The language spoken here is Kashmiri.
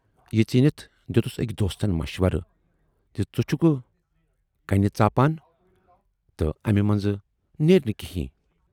یہِ ژیٖنِتھ دٮُ۪تُس ٲکۍ دوستن مَشورٕ زِ ژٕ چھُکھ کَنہِ ژاپان تہٕ امہِ مَنزٕ نیرِ نہٕ کینہہ۔